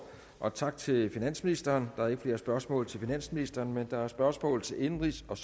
og tak til finansministeren der er ikke flere spørgsmål til finansministeren men der er spørgsmål til indenrigs og